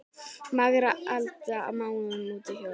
Margra alda máum út hljóm?